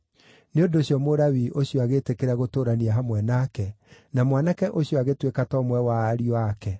Nĩ ũndũ ũcio Mũlawii ũcio agĩĩtĩkĩra gũtũũrania hamwe nake, na mwanake ũcio agĩtuĩka ta ũmwe wa ariũ ake.